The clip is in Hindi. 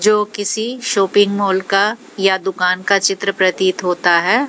जो किसी शॉपिंग मॉल का या दुकान का चित्र प्रतीत होता है।